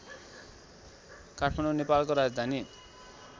काठमाडौ नेपालको राजधानी